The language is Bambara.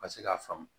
Ka se k'a faamu